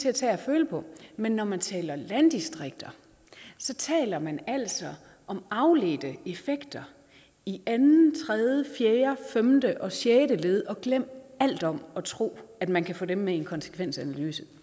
at tage og føle på men når man taler landdistrikter taler man altså om afledte effekter i andet tredje fjerde femte og sjette led og glem alt om at tro at man kan få dem med i en konsekvensanalyse det